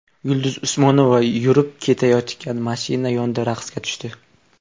Yulduz Usmonova yurib ketayotgan mashina yonida raqsga tushdi .